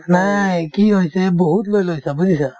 নাই কি হৈছে বহুত লৈ লৈছা বুজিছা